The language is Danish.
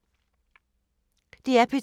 DR P2